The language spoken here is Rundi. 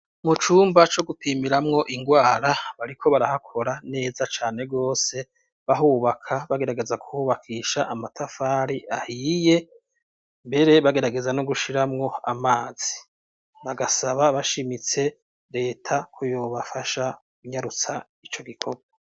Mu cumba co gutimiramwo ingwara bariko barahakora neza cane rwose bahubaka bagerageza kuhubakisha amatafari ahiye mbere bagerageza no gushiramwo amazi bagasaba bashimitse leta kuyobafasha kunyarutsa ico gikorwa.